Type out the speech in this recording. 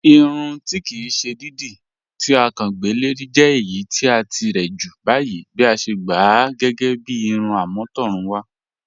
Ìrùn tí kí sè dídí to à kán gbẹ́ lẹ̀rì jẹ̀ ẹ̀yì ti à tíre jù báyìí bí à sè gbá à gẹ́gẹ́ bí ìrùn am̀ọ̀tọ̀rùnwà